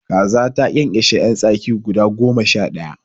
Kaza ta ƙyanƙyashe yan tsaki guda goma sha daya